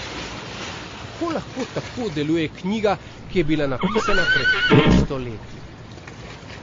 Kako lahko tako deluje knjiga, ki je bila napisana pred petsto leti?